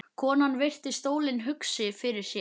Konan virti stólinn hugsi fyrir sér.